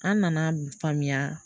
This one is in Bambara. An nana faamuya